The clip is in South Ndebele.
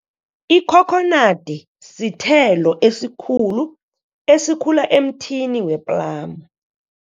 Ikhokhonadi sithelo esikhulu, esikhula emthini we-plum.